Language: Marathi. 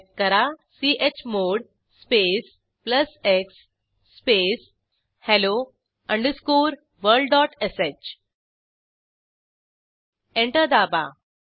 टाईप करा chmod space plus x space hello underscore world dot sh enter दाबा